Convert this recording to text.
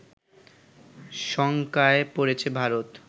শঙ্কায় পড়েছে ভারত